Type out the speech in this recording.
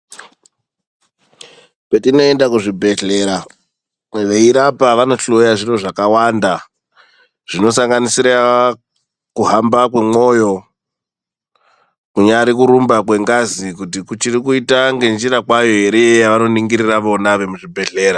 Petinoenda kuzvi bhedhlera veirapa vanohloya zviro zvakawanda zvinosanganisire kuhamba kwemwoyo kunyari kurumba kwengazi kuti kuchiti kuita ngenjira kway ere yavanoningirira vona vemu zvibhedhlera.